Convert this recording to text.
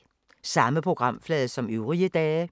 Samme programflade som øvrige dage